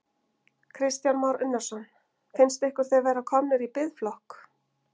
Kristján Már Unnarsson: Finnst ykkur þið vera komnir í biðflokk?